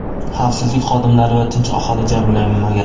Xavfsizlik xodimlari va tinch aholi jabrlanmagan.